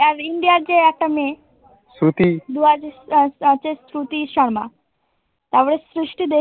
আর India এর যে একটা মেয়ে শ্রুতি শর্মা তা বলে